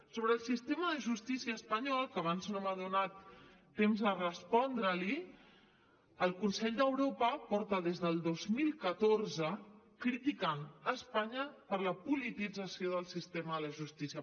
sobre el sistema de justícia espanyol que abans no m’ha donat temps a respondre li el consell d’europa porta des del dos mil catorze criticant espanya per la politització del sistema de justícia